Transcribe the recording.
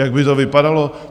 Jak by to vypadalo?